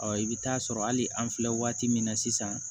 i bɛ taa sɔrɔ hali an filɛ waati min na sisan